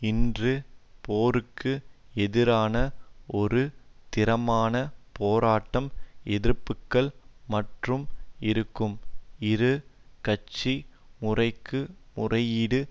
இன்று போருக்கு எதிரான ஒரு திறமான போராட்டம் எதிர்ப்புக்கள் மற்றும் இருக்கும் இரு கட்சி முறைக்கு முறையீடு